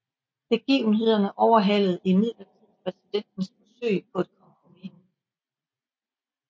Begivenhederne overhalede imidlertid præsidentens forsøg på et kompromis